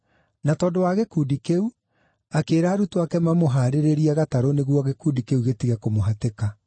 Na tondũ wa gĩkundi kĩu, akĩĩra arutwo ake mamũhaarĩrĩrie gatarũ nĩguo gĩkundi kĩu gĩtige kũmũhatĩka.